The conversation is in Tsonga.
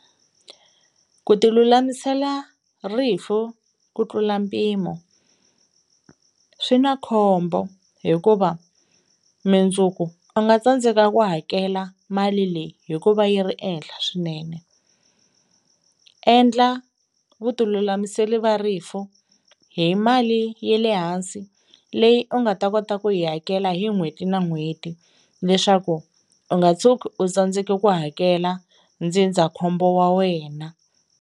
Ku tilulamisela rifu ku tlula mpimo swi na khombo hikuva mundzuku u nga tsandzeka ku hakela mali leyi hikuva yi ri ehenhla swinene. Endla vutilulamisela va rifu hi mali ye le hansi leyi u nga ta kota ku yi hakela hi n'hweti na n'hweti leswaku u nga tshuki u tsandzeke ku hakela ndzindzakhombo wa wena.